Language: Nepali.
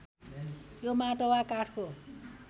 यो माटो वा काठको